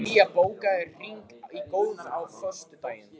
Bría, bókaðu hring í golf á föstudaginn.